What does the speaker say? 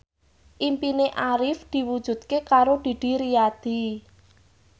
impine Arif diwujudke karo Didi Riyadi